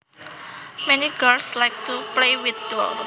Many girls like to play with dolls